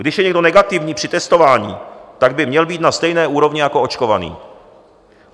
Když je někdo negativní při testování, tak by měl být na stejné úrovni jako očkovaný.